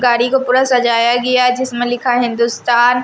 गाड़ी को पूरा सजाया गया जिसमें लिखा है हिंदुस्तान--